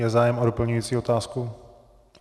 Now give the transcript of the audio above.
Je zájem o doplňující otázku?